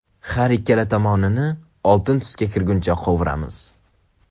Har ikkala tomonini oltin tusga kirgunicha qovuramiz.